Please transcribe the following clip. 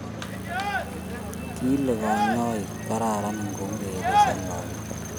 kile kanyaik kararan ingoureren lakoko .